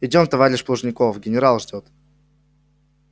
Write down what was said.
идём товарищ плужников генерал ждёт